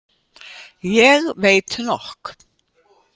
Ég veit nokk.